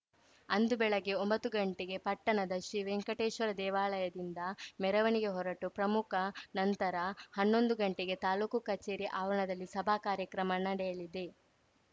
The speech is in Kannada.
ಅಂದು ಬೆಳಗ್ಗೆ ಒಂಬತ್ತು ಗಂಟೆಗೆ ಪಟ್ಟಣದ ಶ್ರೀ ವೆಂಕಟೇಶ್ವರ ದೇವಾಲಯದಿಂದ ಮೆರವಣಿಗೆ ಹೊರಟು ಪ್ರಮುಖ ನಂತರ ಹನ್ನೊಂದು ಗಂಟೆಗೆ ತಾಲೂಕು ಕಚೇರಿ ಆವರಣದಲ್ಲಿ ಸಭಾ ಕಾರ್ಯಕ್ರಮ ನಡೆಯಲಿದೆ